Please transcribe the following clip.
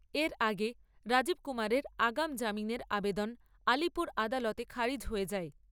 এর আগে রাজীব কুমারের আগাম জামিনের আবেদন আলিপুর আদালতে খারিজ হয়ে যায়।